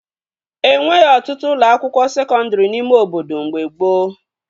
E nweghị ọtụtụ ụlọ akwụkwọ sekọndri n'ime obodo mgbe gboo